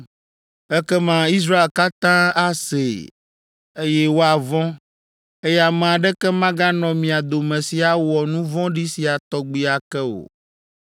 Ekema Israel katã asee, eye woavɔ̃, eye ame aɖeke maganɔ mia dome si awɔ nu vɔ̃ɖi sia tɔgbi ake o.